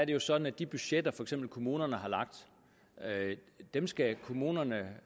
jo sådan at de budgetter som for eksempel kommunerne har lagt skal kommunerne